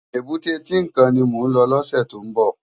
Ébùté Tinkán ni mó lò lòsè tó n bò